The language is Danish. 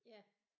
Ja